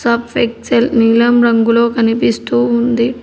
Surf Excel నీలం రంగులో కనిపిస్తూ ఉంది.